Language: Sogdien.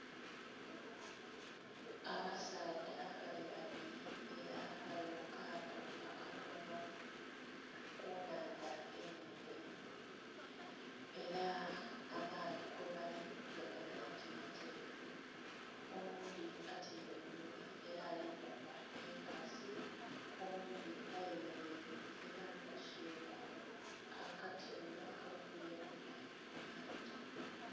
Abasaadha bali babiri ela bali mu kaato akatono ku nnhandha enhenhe. Ela amaadhi kwebali galaga nti mateefu owundhi atyaime einhuma ela ali kukuba enkasi owundhi ayemeleire ela ali kusuula akatimba akavuba engege